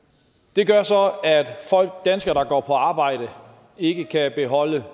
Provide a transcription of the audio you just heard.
det gør så at danskere der går på arbejde ikke kan beholde